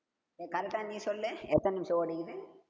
ஏய் correct ஆ நீ சொல்லு. எத்தன நிமிஷம் ஓடுதுன்னு